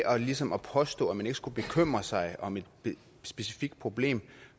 ligesom at påstå at man ikke skulle bekymre sig om et specifikt problem